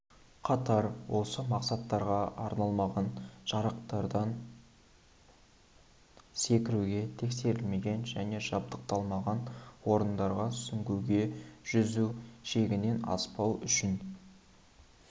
қатар осы мақсаттарға арналмаған жарақтардан секіруге тексерілмеген және жабдықталмаған орындарда сүңгуге жүзу шегінен аспау үшін